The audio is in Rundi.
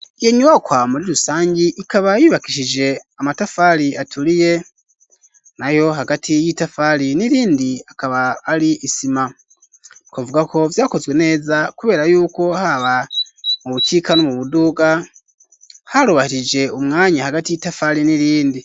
Iyo nyubakwa muri rusangi, ikaba yubakishijwe amatafari aturiye, nayo hagati y'itafari n'irindi akaba ari isima; twovuga ko vyakozwe neza, kubera y'uko haba mu bukika no mu buduga, harubahirije umwanya hagati y'itafari n'irindi.